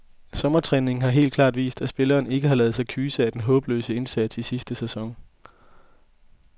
Sommertræningen har helt klart vist, at spillerne ikke har ladet sig kyse af den håbløse indsats i sidste sæson.